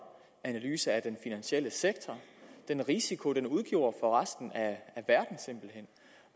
analyse af den finansielle sektor og den risiko den udgjorde for resten